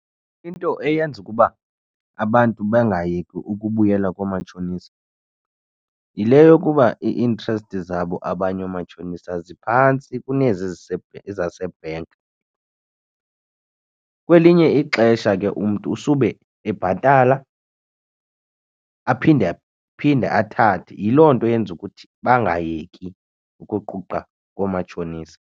Into eyenza ukuba abantu bengayeki ukubuyela koomatshonisa yile yokuba i-interest zabo abanye omatshonisa ziphantsi kunezi zasebhenki. Kwelinye ixesha ke umntu usube ebhatala, aphinde phinde athathe yiloo nto eyenza ukuthi bangayeki ukuquqa koomatshonisa.